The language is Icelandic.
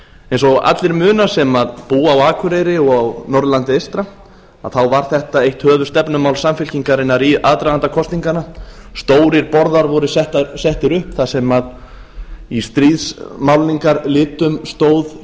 eins og allir muna sem búa á akureyri og á norðurlandi eystra þá var þetta eitt höfuðstefnumál samfylkingarinnar í aðdraganda kosninganna stórir borðar voru settir upp þar sem í stríðsmálningarlitum stóð